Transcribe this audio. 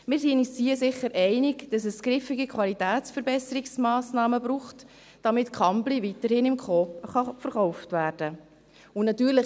Wir sind uns hier sicher einig, dass es griffige Qualitätsverbesserungsmassnahmen braucht, damit Kambly weiterhin im Coop verkauft werden kann.